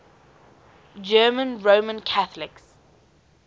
german roman catholics